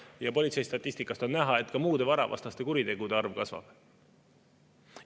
Ja politseistatistikast on näha, et ka muude varavastaste kuritegude arv kasvab.